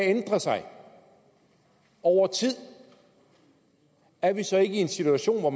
ændrer sig over tid er vi så ikke i en situation hvor